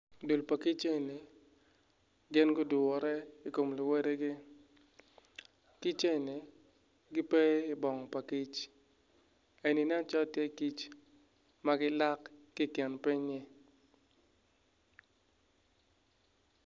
Dul pa kic eni gin gudure i kom luwotgi kic eni gipe ibong pa kic eni nen calo tye kic m gilak ki i kin pinynyi.